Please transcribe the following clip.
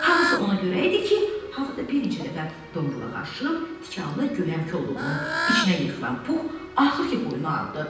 Hamısı ona görə idi ki, orada bir neçə dəfə dombalaq aşıb tikanlı göyəm kolluğunun içinə yıxılan Pux axır ki, boynuna aldı.